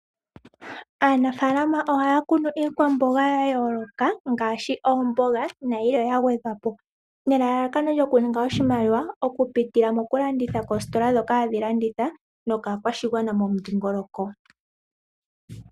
Aanafaalama ohaya kunu iikwamboga ya yooloka Ngaashi omboga nayimwe ya gwedhwa po. Nelalakano lyoku ninga oshimaliwa okupitila mokulanditha koositola ndhoka hadhi landitha nokaakwashigwana momudhiingoloko.